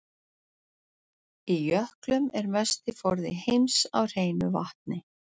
Í jöklum er mesti forði heims af hreinu vatni.